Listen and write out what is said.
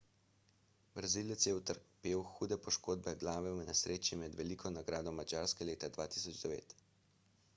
brazilec je utrpel hude poškodbe glave v nesreči med veliko nagrado madžarske leta 2009